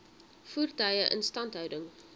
voertuie instandhouding